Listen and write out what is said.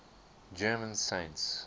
german saints